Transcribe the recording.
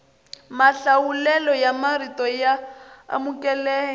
mahlawulelo ya marito ya amukeleka